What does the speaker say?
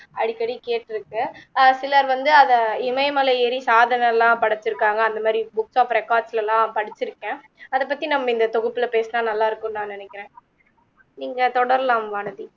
அடிக்கடி கேட்டிருக்கேன் அஹ் சிலர் வந்து அதை இமயமலை ஏரி சாதனைலாம் படைச்சுருக்காங்க அந்த மாதிரி books of records லலாம் படிச்சுருக்கேன் அதை பத்தி நம்ம இந்த தொகுப்புல பேசினால் நல்லா இருக்கும்னு நா நினைக்கிறேன் நீங்க தொடரலாம் வானதி